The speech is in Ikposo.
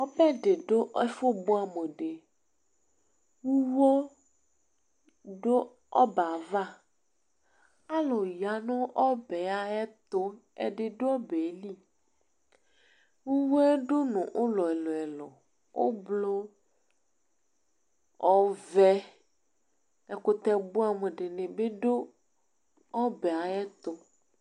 ɔbɛɗiɗũ ɛfubụɑmuũɗi ũwõ ɗụọbɛɑvɑ ɑlụyɑ nụ õbɛ ɑyɛtuz ɛɗiɗụɔbɛli ʊwõ ʊwõ ɗụɲụ ụlọɛluɛlu ωblʊ ɔvé ɛkụtɛbụɑm ɗiɲibi ɗụ ọbɛɑyɛtụ